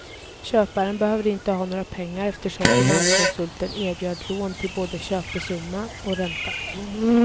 Köparen behövde inte ha några pengar eftersom finanskonsulten erbjöd lån till både köpesumma och ränta.